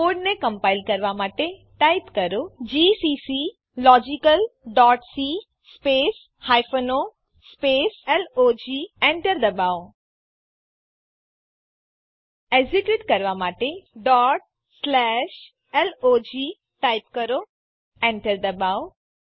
કોડને કમ્પાઈલ કરવા માટે ટાઈપ કરો જીસીસી logicalસી o લોગ એન્ટર દબાવો એક્ઝીક્યુટ કરવા માટે log ટાઈપ કરો એન્ટર દબાવો